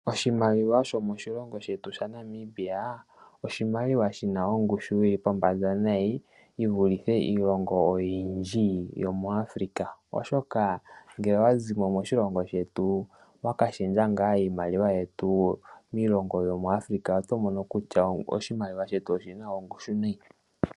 Oshimaliwa shomoshilongo shetu shaNamibia oshimaliwa shina ongushu yili pombanda nayi yivulithe iilonga oyindji yo moAfrica , oshoka ngele owazimo moshilongo shetu waka shendja ngaa iimaliwa yetu, miilongo yo moAfrica oto mono kutya oshimaliwa shetu oshina ongushu nayi.